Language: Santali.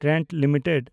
Trent limited